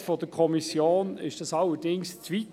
Der Mehrheit der Kommission ging dies dann doch zu weit.